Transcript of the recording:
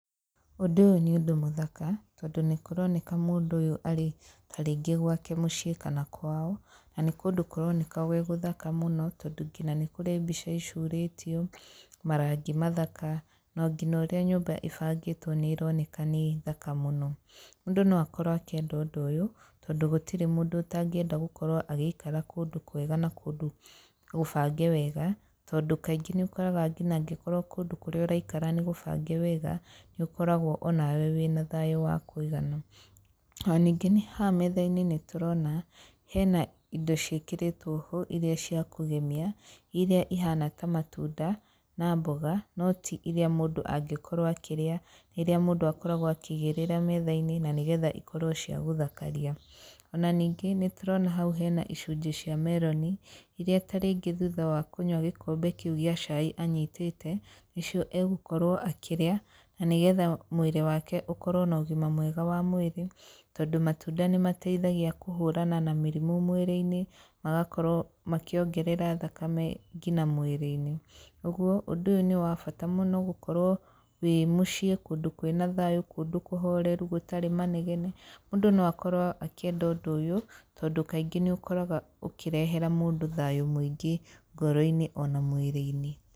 Ũndũ ũyũ nĩ ũndũ mũthaka, tondũ nĩ kũroneka mũndũ ũyũ arĩ ta rĩngĩ gwake mũciĩ kana kwao, na nĩ kũndũ kũroneka gwĩ gũthaka mũno tondũ nginya nĩ kũrĩ mbica icurĩtio, marangi mathaka, na nginya ũrĩa nyũmba ĩbangĩtwo nĩ ĩroneka nĩ thaka mũno. Mũndũ no akorwo akĩenda ũndũ ũyũ, tondũ gũtirĩ mũndũ ũtangĩenda gũkorwo agĩikara kũndũ kwega na kũndũ gũbange wega tondũ kaingĩ nĩ ũkoraga nginya angĩkorwo kũndũ kũrĩa ũraikara nĩ gũbange wega, nĩ ũkoragwo onawe wĩ na thayũ wa kũigana. O ningĩ haha metha-inĩ nĩ tũrona, hena indo ciĩkĩrĩtwo ho iria cia kũgemia, iria ihana ta matunda na mboga, no ti iria mũndũ angĩkorwo akĩrĩa rĩrĩa mũndũ akoragwo akĩigĩrĩra metha-inĩ na nĩgetha ikorwo cia gũthakaria. Ona ningĩ nĩ tũrona hau hena icunjĩ cia meroni, iria ta rĩngĩ thutha wa kũnyua gĩkombe kĩu gĩa cai anyitĩte, nĩcio agũkorwo akĩrĩa, na nĩgetha mwĩrĩ wake ũkorwo na ũgima mwega wa mwĩrĩ, tondũ matunda nĩ mateithagia kũhũrana na mĩrimũ mwĩrĩ-inĩ, magakorwo makĩongerera thakame nginya mwĩrĩ-inĩ. Ũguo ũndũ ũyũ nĩ wa bata mũno gũkorwo wĩ mũciĩ kũndũ kwĩna thayũ, kũndũ kũhoreru gũtarĩ manegene, mũndũ no akorwo akĩenda ũndũ ũyũ, tondũ kaingĩ nĩ ũkoraga ũkĩrehera mũndũ thayũ mũingĩ ngoro-inĩ ona mwĩrĩ-inĩ.